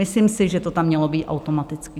Myslím si, že to tam mělo být automaticky.